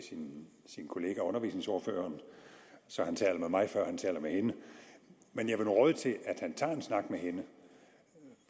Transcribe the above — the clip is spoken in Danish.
sin kollega undervisningsordføreren så han taler med mig før han taler med hende men jeg vil nu råde til at han tager en snak med hende